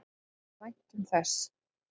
Við væntum þess.